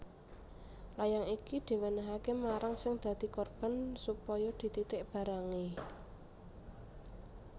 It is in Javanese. Layang iki diwènèhaké marang sing dadi korban supaya dititik barangé